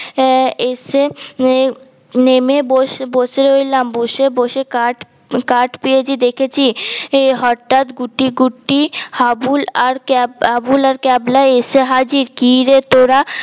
আহ এসে নেমে বসে বসে রইলাম বসে বসে কাঠ কাঠ পেয়েজি দেখেছি হটাৎ গুটি গুটি হাবুল আর ক্যাবলা হাবুল আর ক্যাবলা এসে হাজির কি রে তোরা